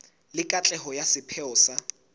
le katleho ya sepheo sa